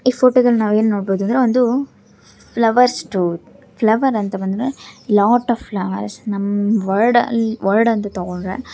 ಈ ಫೋಟೋ ದಲ್ಲಿ ನಾನು ಏನು ನೋಡಬಹುದು ಅಂದರೆ ಒಂದು ಫ್ಲವರ್ ಸ್ಟೋರ್ . ಫ್ಲವರ್ ಅಂತ ಬಂದ್ರೆ ಲಾಟ್ಸ್ ಆಫ್ ಫ್ಲವರ್ಸ್ ವರ್ಡ್ ಅಂತ ತಗೊಂಡ್ರೆ ಹ್ --